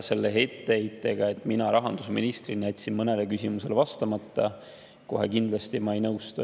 Selle etteheitega, et mina rahandusministrina jätsin mõnele küsimusele vastamata, ma kohe kindlasti ei nõustu.